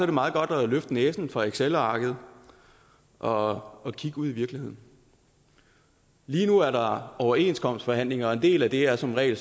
det meget godt at løfte næsen fra excelarket og og kigge ud i virkeligheden lige nu er der overenskomstforhandlinger og en del af det er som regel